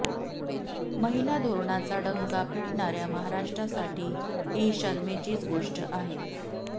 महिला धोरणाचा डंका पिटणाऱ्या महाराष्ट्रासाठी ही शरमेचीच गोष्ट आहे